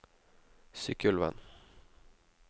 Sykkylven